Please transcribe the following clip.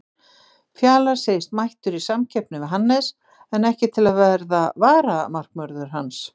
Fjalar segist mættur í samkeppni við Hannes en ekki til að verða varamarkvörður hans.